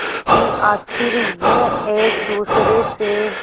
कि आखिर यूं एक दूसरे से